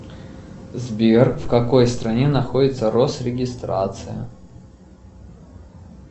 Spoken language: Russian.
сбер в какой стране находится росрегистрация